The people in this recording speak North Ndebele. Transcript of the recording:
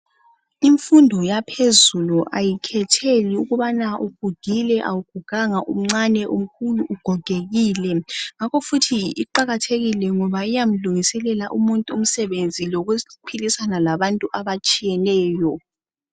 Imfundo yaphezulu ayikhetheli ukubana ugugile awuguganga umncane umkhulu ugogekile ngakho futhi iqakathekile ngoba iyamlungiselela umuntu umsebenzi lokuphilisana labantu abatshiyeneyo